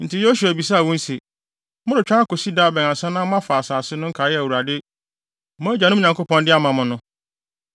Enti Yosua bisaa wɔn se, “Moretwɛn akosi da bɛn ansa na moafa asase no nkae a Awurade, mo agyanom Nyankopɔn de ama mo no?